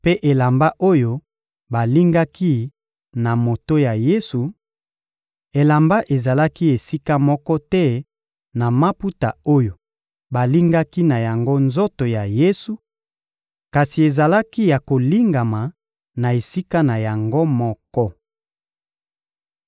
mpe elamba oyo balingaki na moto ya Yesu; elamba ezalaki esika moko te na maputa oyo balingaki na yango nzoto ya Yesu, kasi ezalaki ya kolingama na esika na yango moko.